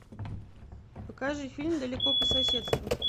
покажи фильм далеко по соседству